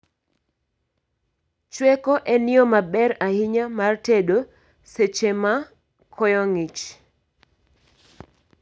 Chweko en yoo maber ahinya mar tedo seche ma koyo ng'ich